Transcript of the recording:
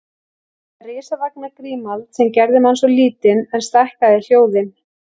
Þetta risavaxna gímald sem gerði mann svo lítinn en stækkaði hljóðin